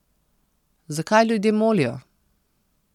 Zakaj ljudje molijo?